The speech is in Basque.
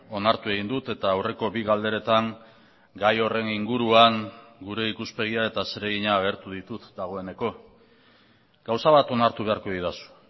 onartu egin dut eta aurreko bi galderetan gai horren inguruan gure ikuspegia eta zeregina agertu ditut dagoeneko gauza bat onartu beharko didazu